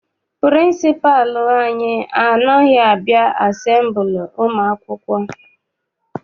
Pịrịnsịpalụ anyị anaghị abịa asembili ụmụ akwụkwọ.